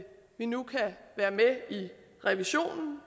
vi nu kan være med i revisionen